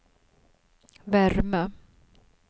värme